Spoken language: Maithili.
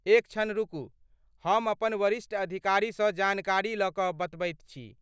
एक क्षण रुकू, हम अपन वरिष्ठ अधिकारीसँ जानकारी लऽ कऽ बतबैत छी।